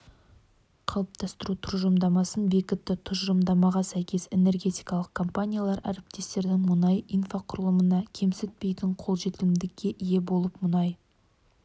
қалыптастыру тұжырымдамасын бекітті тұжырымдамаға сәйкес энергетикалық компаниялар әріптестердің мұнай инфрақұрылымына кемсітпейтін қолжетімділікке ие болып мұнай